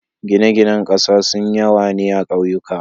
gine gine ƙasa sun yawa ne akauyuka